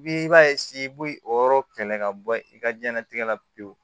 Bi i b'a i b'o yɔrɔ kɛlɛ ka bɔ i ka diɲɛnatigɛ la pewu